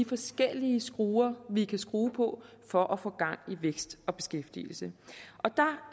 forskellige skruer vi kan skrue på for at få gang i vækst og beskæftigelse